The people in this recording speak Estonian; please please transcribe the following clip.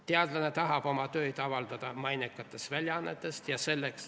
Teadlane tahab oma tööd avaldada mainekates väljaannetes.